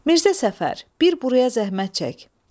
Mirzə Səfər, bir buraya zəhmət çək.